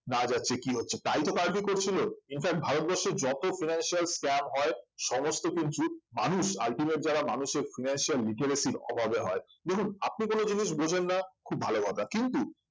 না যাচ্ছে কি হচ্ছে তাই তো কার্ভি করছিল infact ভারতবর্ষের যত financial scam হয় সমস্ত কিন্তু মানুষ ultimate যারা মানুষের financial literacy র অভাবে হয় দেখুন আপনি কোন জিনিস বোঝেন না খুব ভালো কথা কিন্তু